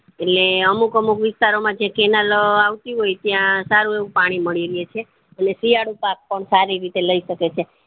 એટલે અમુક અમુક વિસ્તાર માં જે cannel આવતી હોય ત્યાં સારું એવું પાણી મળી રેય છે એટલે શિયાળુ પાક પણ સારી રીતે લય શકે છે